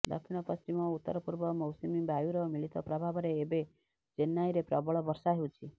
ଦକ୍ଷିଣ ପଶ୍ଚିମ ଓ ଉତ୍ତରପୂର୍ବ ମୌସୁମୀ ବାୟୁର ମିଳିତ ପ୍ରଭାବରେ ଏବେ ଚେନ୍ନାଇରେ ପ୍ରବଳ ବର୍ଷା ହେଉଛି